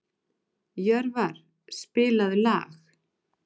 Jörvar, spilaðu lag.